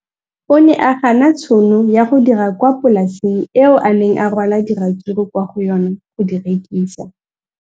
O ne a gana tšhono ya go dira kwa polaseng eo a neng rwala diratsuru kwa go yona go di rekisa.